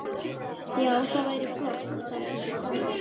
Já, það væri flott, samsinnti Kobbi.